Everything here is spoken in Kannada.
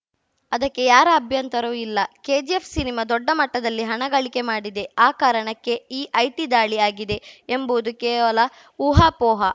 ಅದಕ್ಕೆ ಯಾರ ಅಭ್ಯಂತರವೂ ಇಲ್ಲ ಕೆಜಿಎಫ್‌ಸಿನಿಮಾ ದೊಡ್ಡ ಮಟ್ಟದಲ್ಲಿ ಹಣ ಗಳಿಕೆ ಮಾಡಿದೆ ಆ ಕಾರಣಕ್ಕೆ ಈ ಐಟಿ ದಾಳಿ ಆಗಿದೆ ಎಂಬುದು ಕೇವಲ ಊಹಾಪೋಹ